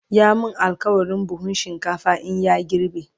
ya min alkawalin buhun shinkafa in ya girbe